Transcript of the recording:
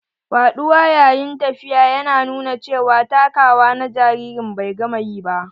Faɗuwa yayin tafiya ya nuna cewa takawa na jaririn bai gama ƴi ba.